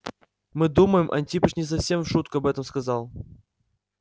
мы думаем антипыч не совсем в шутку об этом сказал